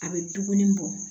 A bɛ duguni bɔ